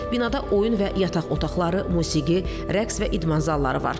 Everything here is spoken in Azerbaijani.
Binada oyun və yataq otaqları, musiqi, rəqs və idman zalları var.